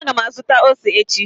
Ee, a ga m azụta ose echi